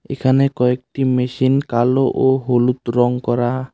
এখানে কয়েকটি মেশিন কালো ও হলুদ রং করা--